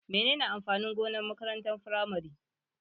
Menene amfanin gonar makarantar firamare?